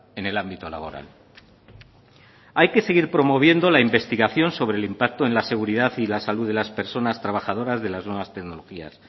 en el ámbito laboral hay que seguir promoviendo la investigación sobre el impacto en la seguridad y la salud de las personas trabajadoras de las nuevas tecnologías